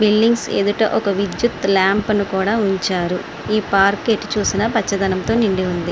Billings ఎదుట ఒక విద్యుత్ లాంప్ అని కూడా ఉంచారు. ఈ పార్క్ ఎటు చూసిన పచ్చదనంతో నిండి ఉంది.